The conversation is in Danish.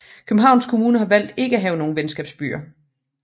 Københavns Kommune har valgt ikke at have nogen venskabsbyer